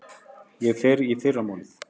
Ég fer í fyrramálið.